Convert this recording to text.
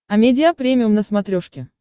амедиа премиум на смотрешке